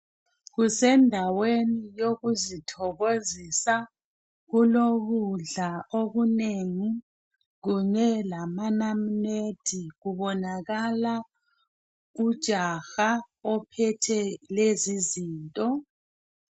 Kusendaweni yokuzithokozisa, kulokudla okunegi, kunye lamanamunede kubonakala ujaha ophethe lezizinto.